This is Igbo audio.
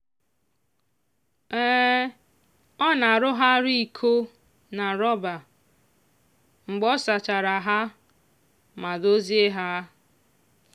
ọ na-arụgharị iko na rọba mgbe ọ sachara ha ma dozie ha.